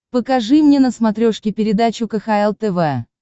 покажи мне на смотрешке передачу кхл тв